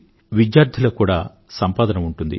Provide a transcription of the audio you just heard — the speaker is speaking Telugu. విద్యార్థులకు కూడా సంపాదన ఉంటుంది